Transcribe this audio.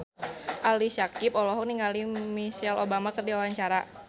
Ali Syakieb olohok ningali Michelle Obama keur diwawancara